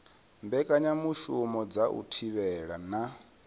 mbekanyamushumo dza u thivhela na